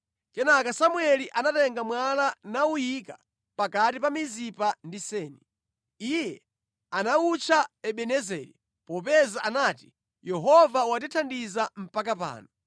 Kenaka Samueli anatenga mwala nawuyika pakati pa Mizipa ndi Seni. Iye anawutcha Ebenezeri, popeza anati, “Yehova watithandiza mpaka pano.”